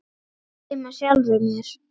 Ég hlæ með sjálfri mér.